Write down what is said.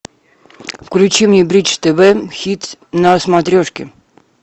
включи мне бридж тв хитс на смотрешке